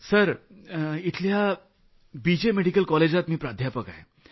sir ji इथल्या B J medical कॉलेजात मी प्राध्यापक आहे